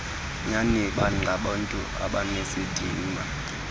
nyani bangabantu abanesidima